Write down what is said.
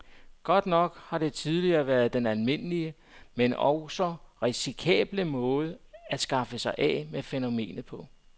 Godt nok har det tidligere været den almindelige, men altså også risikable måde at skaffe sig af med fænomenet på.